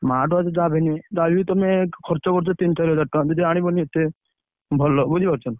Smart watch ଯାହାବି ହେଲେ ଯାହାବି ହେଲେ ତମେ ଖର୍ଚ୍ଚ କରୁଛ ତିନି ଚାରି ହଜାର ଟଙ୍କା ଯଦି ଆଣିବନି ଏତେ, ଭଲ ବୁଝିପାରୁଛନା।